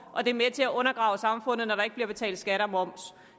og det er med til at undergrave samfundet når der ikke bliver betalt skat og moms